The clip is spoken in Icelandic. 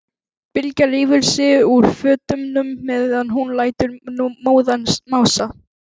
Bylgja rífur sig úr fötunum meðan hún lætur móðan mása.